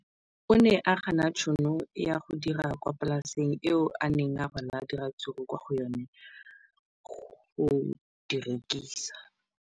O ne a gana tšhono ya go dira kwa polaseng eo a neng rwala diratsuru kwa go yona go di rekisa.